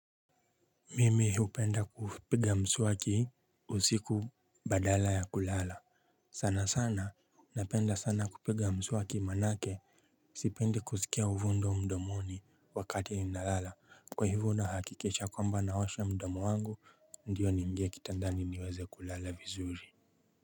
Mimi hupenda kupiga mswaki usiku badala ya kulala sana sana napenda sana kupiga mswaki manake sipendi kusikia uvundo mdomoni wakati nalala kwa hivyo nahakikisha kwamba naosha mdomo wangu ndio niingie kitandani niweze kulala vizuri.